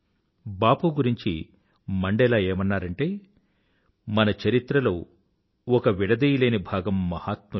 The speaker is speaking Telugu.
బాపు గురించి మండేలా ఏమన్నారంటే మన చరిత్రలో ఒక విడదీయలేని భాగం మహాత్ములు